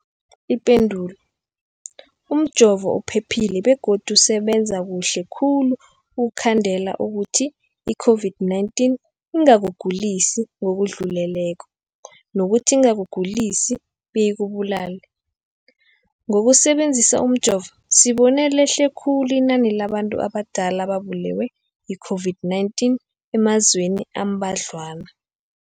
Ipendulo, umjovo uphephile begodu usebenza kuhle khulu ukukhandela ukuthi i-COVID-19 ingakugulisi ngokudluleleko, nokuthi ingakugulisi beyikubulale. Ngokusebe nzisa umjovo, sibone lehle khulu inani labantu abadala ababulewe yi-COVID-19 emazweni ambadlwana.